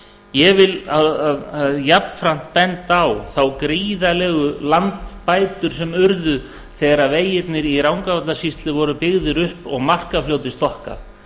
ég vil jafnframt benda á þær gríðarlegu landbætur sem urðu þegar vegirnir í rangárvallasýslu voru byggðir upp og markafljótið stokkað